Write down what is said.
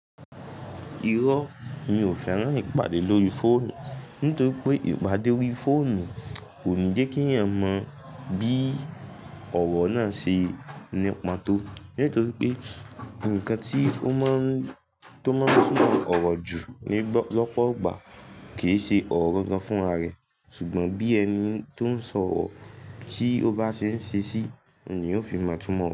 Irọ́ mi ò fẹ́ràn ìpàdé lórí fóònù nítorí pé ìpàdé orí fóònù kò ní jẹ́ kí èèyàn mọ bí ọ̀rọ̀ náà ṣe nípa tó. Nítorí pé ǹkan tí ó máa ń túmọ̀ ọ̀rọ̀ jù ní lọ́pọ̀ ìgbà kì í ṣe ọ̀rọ̀ gangan fún ara rẹ̀, ṣùgbọ́n bí ẹni tó ń sọ ọ̀rọ̀ tí ó bá ṣe ń ṣe sí ni ó fi mọ̀ túmọ̀